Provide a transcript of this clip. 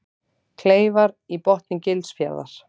Kleifar í botni Gilsfjarðar.